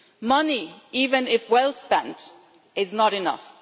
Money, even if well spent, is not enough.